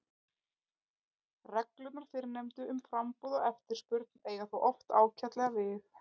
Reglurnar fyrrnefndu um framboð og eftirspurn eiga þó oft ágætlega við.